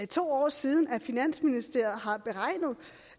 to år siden finansministeriet har beregnet